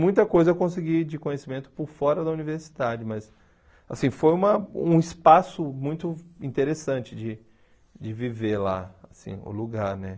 Muita coisa eu consegui de conhecimento por fora da universidade, mas assim foi uma um espaço muito interessante de de viver lá, assim o lugar né.